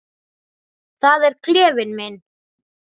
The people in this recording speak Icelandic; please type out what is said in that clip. Það er klefinn minn.